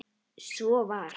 Svo var.